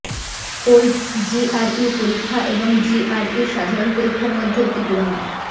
old GRE পরীক্ষা এবং জিইআরই সাধারণ পরীক্ষার মধ্যে একটি তুলনা